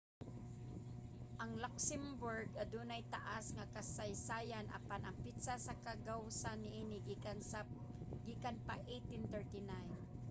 ang luxembourg adunay taas nga kasaysayan apan ang petsa sa kagawasan niini gikan pa 1839